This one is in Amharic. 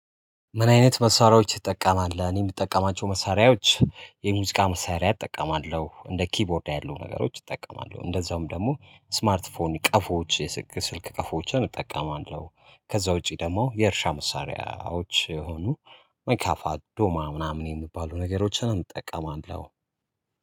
ምን አይነት መሳሪያዎች ትጠቀማል? እኔ የምጠቀማቸው መሳሪያዎች የሙዚቃ መሳሪያ እጠቀማለሁ እንደ ኪቦርድ ያሉ ነገሮች እጠቀማለሁ እንደዛውም ደግሞ ስማርት ፎን ቀፎዎች የስልክ ቀፎዎችን እጠቀማለሁ ከዛ ውጪ ደግሞ የእርሻ መሳሪያዎች የሆኑ መካፋ አዶማ ምናምን የሚባሉ ነገሮችን እንጠቀማለን።